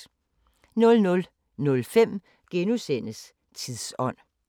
00:05: Tidsånd *